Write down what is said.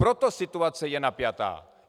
Proto situace je napjatá.